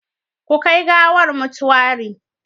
Ku kai gawar motuwari